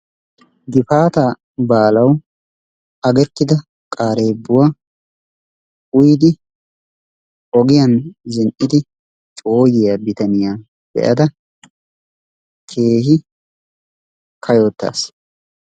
Gifaataa baalawu agettida qareebbuwaa uyidi ogiyaan zin"idi cooyiyaa bitaniyaa be"ada keehi kaayottaas.